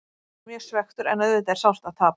Ég er ekki mjög svekktur en auðvitað er sárt að tapa.